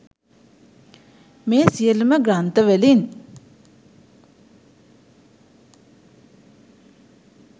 මේ සියලුම ග්‍රන්ථ වලින්